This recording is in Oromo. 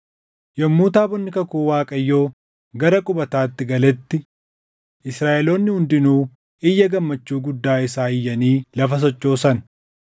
Yommuu taabonni kakuu Waaqayyoo gara qubataatti galetti Israaʼeloonni hundinuu iyya gammachuu guddaa isaa iyyanii lafa sochoosan.